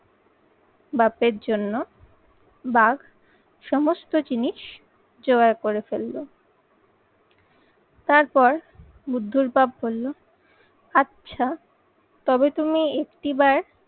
বাপের জন্য বাঘ সমস্ত জিনিস জোগাড় করে ফেলল। তারপর বুদ্ধর বাপ বলল আচ্ছা তবে তুমি একটি বার